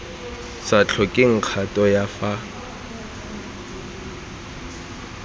sa tlhokeng kgato ya fa